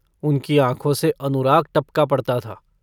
उनकी आँखों से अनुराग टपका पड़ता था।